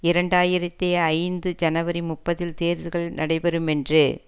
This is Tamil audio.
இரண்டு ஆயிரத்தி ஐந்து ஜனவரி முப்பதில் தேர்தல்கள் நடைபெறும் என்று